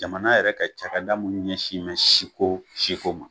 Jamana yɛrɛ ka cakɛda munnu ɲɛsin mɛn siko siko ma